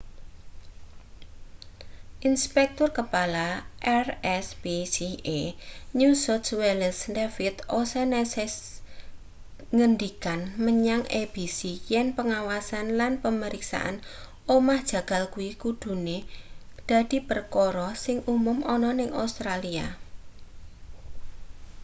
inspektur kepala rspca new south wales david o'shannessyngendikan menyang abc yen pengawasan lan pemeriksaan omah jagal kuwi kudune dadi perkara sing umum ana ning australia